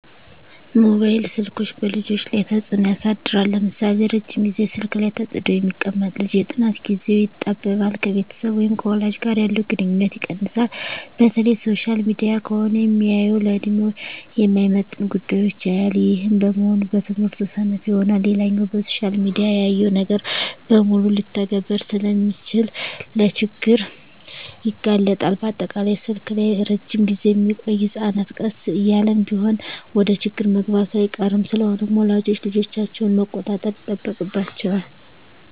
መባይል ስልኮች በልጆች ላይ ተጽኖ ያሳድራል ለምሳሌ:- ረጅም ግዜ ስልክ ላይ ተጥዶ የሚቀመጥ ልጅ የጥናት ግዜው ይጣበባል፣ ከቤተሰብ ወይም ከወላጅ ጋር ያለው ግንኙነት ይቀንሳል፣ በተለይ ሶሻል ሚዲያ ከሆነ ሚያየው ለድሜው የማይመጥን ጉዳዮች ያያል ይህም በመሆኑ በትምህርቱ ሰነፍ ይሆናል። ሌላኛው በሶሻል ሚዲያ ያየውን ነገር በሙሉ ልተግብር ስለሚል ለችግር ይጋለጣል፣ በአጠቃላይ ስልክ ላይ እረጅም ግዜ ሚቆዮ ህጸናት ቀስ እያለም ቢሆን ወደችግር መግባቱ አይቀርም። ስለሆነም ወላጆች ልጆቻቸውን መቆጣጠር ይጠበቅባቸዋል